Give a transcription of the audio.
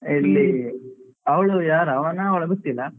ಎಲ್ಲಿ ಅವಳು ಯಾರು ಅವನಾ ಅವಳಾ ಗೊತ್ತಿಲ್ಲ